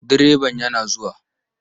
Direban yana zuwa.